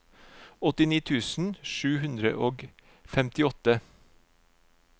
åttini tusen sju hundre og femtiåtte